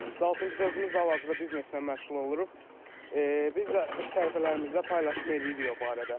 Misal üçün biz özümüz də hal-hazırda bizneslə məşğul oluruq, biz də səhifələrimizdə paylaşım eləyirik o barədə.